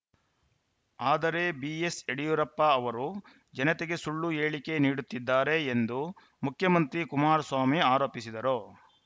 ಆದರೆ ಬಿಎಸ್‌ಯಡಿಯೂರಪ್ಪ ಅವರು ಜನತೆಗೆ ಸುಳ್ಳು ಹೇಳಿಕೆ ನೀಡುತ್ತಿದ್ದಾರೆ ಎಂದು ಮುಖ್ಯಮಂತ್ರಿ ಕುಮಾರಸ್ವಾಮಿ ಆರೋಪಿಸಿದರು